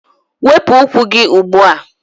Wepụ ụkwụ gị ugbu a!